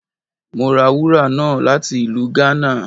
Mo ra wúra náá lati ilù Ghana.